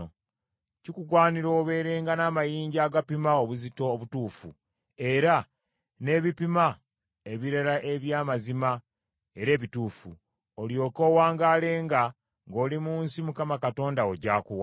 Kikugwanira obeerenga n’amayinja agapima obuzito obutuufu, era n’ebipima ebirala eby’amazima era ebituufu, olyoke owangaalenga ng’oli mu nsi Mukama Katonda wo gy’akuwa.